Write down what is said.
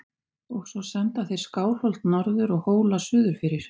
Og svo senda þeir Skálholt norður og Hóla suðurfyrir!